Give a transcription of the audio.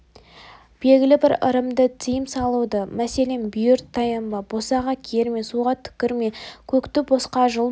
белгілі бір ырымды тиым салуды мәселен бүйір таянба босаға керме суға түкірме көкті босқа жұлма